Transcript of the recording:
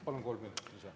Palun kolm minutit lisa.